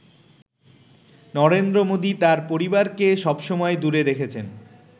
নরেন্দ্র মোদি তাঁর পরিবারকে সব সময় দূরে রেখেছেন।